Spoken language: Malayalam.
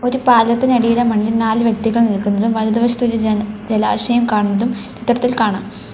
ഈ പാലത്തിനടിയിലെ മണ്ണിൽ നാല് വ്യക്തികൾ നിൽക്കുന്നതും വലതുവശത്ത് ഒരു ജ ജലാശയം കാണുന്നതും ചിത്രത്തിൽ കാണാം.